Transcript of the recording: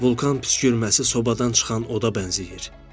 Vulkan püskürməsi sobadan çıxan oda bənzəyir.